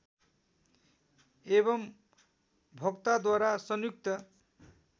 एवम् भोक्ताद्वारा संयुक्त